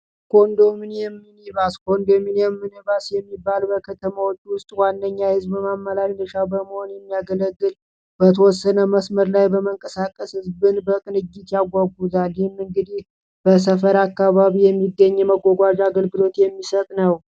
ኮንዶሚኒየም ሚኒባስ ኮንዶሚኒየም ሚኒባስ የሚባል በከተሞች ውስጥ ዋነኛ የህዝብ ማመላለሻ በመሆን የሚያገለግል በተወሰነ መስመር ላይ በመንቀሳቀስ ህዝብን በቅንጅት ያጓጉዛል። ይህ እንግዲህ በሰፈር አካባቢ የመጓጓዣ የሚገኝ አገልግሎት የሚሰጥ ነው ።